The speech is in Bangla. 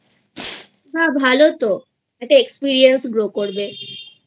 না ভালো তো একটা Experience grow করবেI